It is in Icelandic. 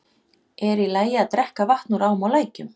Er í lagi að drekka vatn úr ám og lækjum?